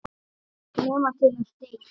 Nema til að deyja.